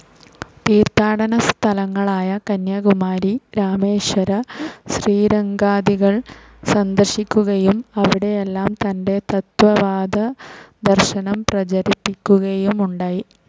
തീർത്ഥാടന സ്ഥലങ്ങളായ കന്യാകുമാരി, രാമേശ്വര, ശ്രീരംഗാദികൾ സന്ദർശിക്കുകയും അവിടെയെല്ലാം തന്റെ തത്ത്വവാദ ദർശനം പ്രചരിപ്പിക്കുകയുമുണ്ടായി.